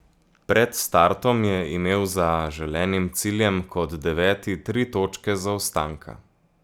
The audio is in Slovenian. Pred startom je imel za želenim ciljem kot deveti tri točke zaostanka.